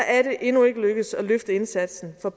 er det endnu ikke lykkedes at løfte indsatsen for